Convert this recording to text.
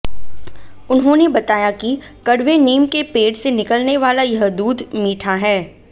उन्होंने बताया कि कड़वे नीम के पेड़ से निकलने वाला यह दूध मीठा है